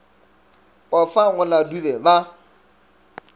pofa go la dube ba